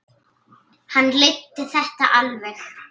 Hann leiddi þetta alveg.